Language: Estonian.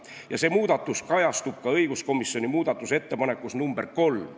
Ja see muudatus kajastub ka õiguskomisjoni muudatusettepanekus nr 3.